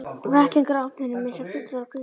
Vettlingar á ofninum eins og fuglar á grindverki.